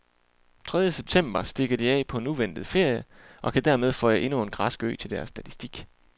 Tredje september stikker de af på en uventet ferie og kan dermed føje endnu en græsk ø til deres statistik.